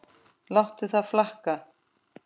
Láttu það flakka.